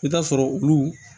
I bɛ t'a sɔrɔ olu